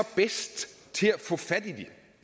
bedst til at få fat